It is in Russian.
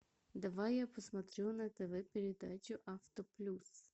давай я посмотрю на тв передачу авто плюс